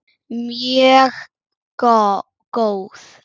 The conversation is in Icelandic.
Mjög góð.